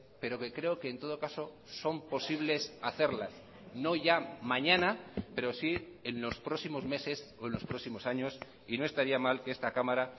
pero que creo que en todo caso son posibles hacerlas no ya mañana pero sí en los próximos meses o en los próximos años y no estaría mal que esta cámara